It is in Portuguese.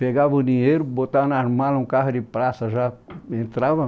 pegava o dinheiro, botava nas malas um carro de praça, já entrava.